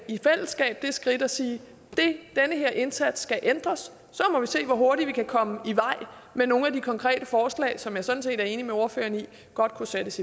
i fællesskab det skridt at sige den her indsats skal ændres så må vi se hvor hurtigt vi kan komme i vej med nogle af de konkrete forslag som jeg sådan set er enig med ordføreren i godt kunne sættes